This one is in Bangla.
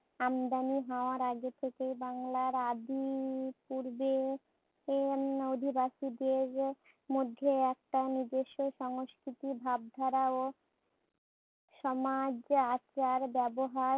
আমদানি হওয়ার আগে থেকেই বাংলার আদি পূর্বে উম অধিবাসীদের মধ্যে একটা নিজস্ব সংস্কৃতির ভাবধারা ও সমাজ আচার ব্যবহার